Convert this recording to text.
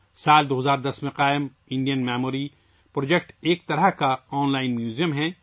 سال 2010 ء میں قائم کیا گیا، انڈین میموری پروجیکٹ ایک قسم کا آن لائن میوزیم ہے